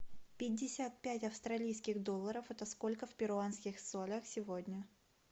пятьдесят пять австралийских долларов это сколько в перуанских солях сегодня